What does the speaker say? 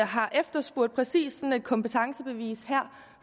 har efterspurgt præcis sådan et kompetencebevis her